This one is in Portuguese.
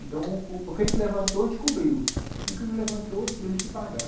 Então o o que a gente levantou a gente cobriu, e o que não levantou tivemos que pagar.